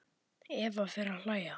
Eva fer að hlæja.